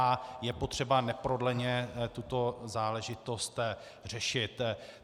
A je potřeba neprodleně tuto záležitost řešit.